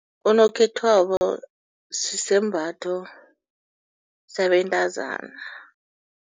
Unokhethwabo sisembatho sabantazana.